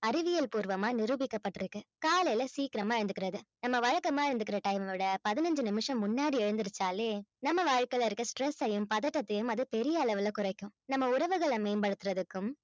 அறிவியல் பூர்வமா நிரூபிக்கப்பட்டிருக்கு காலையில சீக்கிரமா எழுந்துக்கிறது நம்ம வழக்கமா எழுந்துக்கிற time அ விட பதினஞ்சு நிமிஷம் முன்னாடி எழுந்திருச்சாலே நம்ம வாழ்க்கையிலே இருக்கிற stress ஐயும் பதட்டத்தையும் அது பெரிய அளவுல குறைக்கும் நம்ம உறவுகளை மேம்படுத்துறதுக்கும்